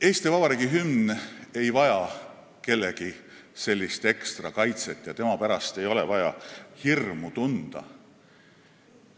Eesti Vabariigi hümn ei vaja kellegi ekstrakaitset ja tema pärast ei ole vaja hirmu tunda.